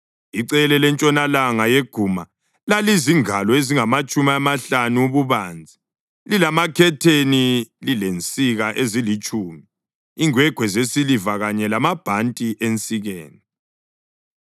Icele lentshonalanga yeguma lalizingalo ezingamatshumi amahlanu ububanzi, lilamakhetheni, lilensika ezilitshumi, ingwegwe zesiliva kanye lamabhanti ensikeni.